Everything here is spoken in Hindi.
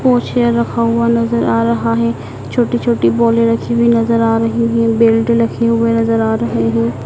पोछे रखा हुआ नज़र आ रहा है छोटी छोटी बॉले रखी हुई नज़र आ रही है बेल्ट लखे हुए नज़र आ रहे हैं।